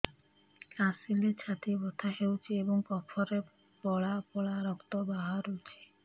କାଶିଲେ ଛାତି ବଥା ହେଉଛି ଏବଂ କଫରେ ପଳା ପଳା ରକ୍ତ ବାହାରୁଚି